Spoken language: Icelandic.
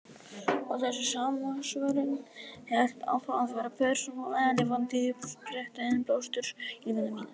Og þessi samsvörun hélt áfram að vera persónuleg, lifandi uppspretta innblásturs í lífi mínu.